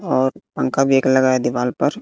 और पंखा भी एक लगा है दीवाल पर--